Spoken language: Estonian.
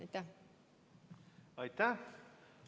Aitäh!